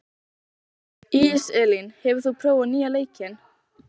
Íselín, hefur þú prófað nýja leikinn?